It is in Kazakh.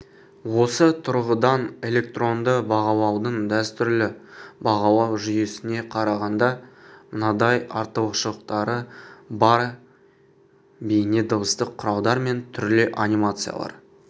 осы тұрғыдан электронды бағалаудың дәстүрлі бағалау жүйесіне қарағанда мынадай артықшылықтары бар бейне-дыбыстық құралдар мен түрлі анимациялар